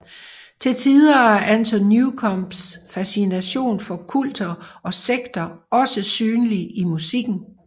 Til tider er Anton Newcombes fascination for kulter og sekter også synlig i musikken